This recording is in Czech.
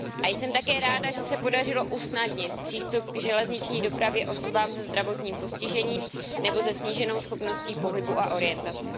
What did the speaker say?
Jsem také ráda, že se podařilo usnadnit přístup k železniční dopravě osobám se zdravotním postižením nebo se sníženou schopností pohybu a orientace.